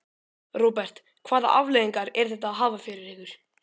Róbert: Hvaða afleiðingar er þetta að hafa fyrir ykkur?